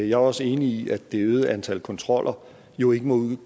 jeg er også enig i at det øgede antal kontroller jo ikke må